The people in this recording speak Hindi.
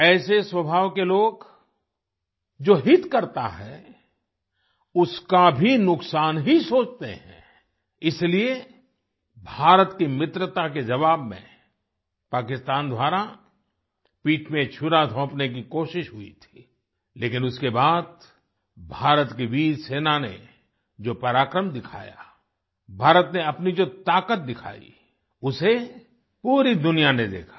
ऐसे स्वभाव के लोग जो हित करता है उसका भी नुकसान ही सोचते हैं इसीलिए भारत की मित्रता के जवाब में पाकिस्तान द्वारा पीठ में छुरा घोंपने की कोशिश हुई थी लेकिन उसके बाद भारत की वीर सेना ने जो पराक्रम दिखाया भारत ने अपनी जो ताकत दिखाई उसे पूरी दुनिया ने देखा